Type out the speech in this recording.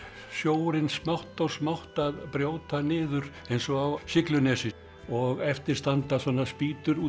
sjórinn smátt og smátt að brjóta niður eins og á Siglunesi og eftir standa svona spýtur út